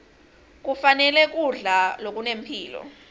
kufanele kudla lokunempilo